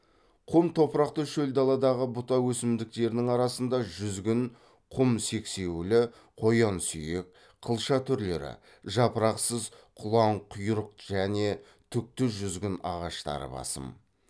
құм топырақты шөл даладағы бұта өсімдіктерінің арасында жүзгін құм сексеуілі қоянсүйек қылша түрлері жапырақсыз құланқұйрық және түкті жүзгін ағаштары басым